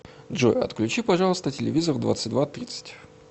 джой отключи пожалуйста телевизор в двадцать два тридцать